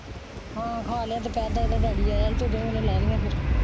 ਹਾਂ ਖਾਂ ਲਿਆ ਹਾਂ ਦੁਪਹਿਰ ਦਾ ਇਹਦਾ ਡੈਡੀ ਆਇਆ ਸੀ ਲਾ ਲਈਏ ਫ਼ੇਰ।